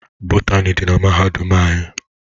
Bọtani di na mahadum anyi.